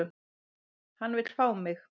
Hann vill fá mig.